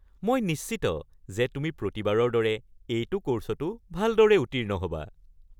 মই নিশ্চিত যে তুমি প্ৰতিবাৰৰ দৰে এইটো ক'ৰ্ছতো ভালদৰে উত্তীৰ্ণ হ'বা।